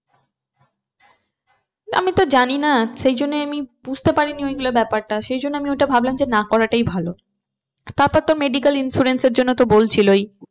আমি তো জানি না সেই জন্য আমি বুঝতে পারি না ওইগুলো ব্যাপারটা সেইজন্য ওটা ভাবলাম যে না করাটাই ভালো। তারপর তো medical insurance এর জন্য তো বলছিল।